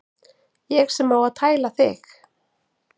Ég sem á að tæla þig.